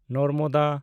Narmada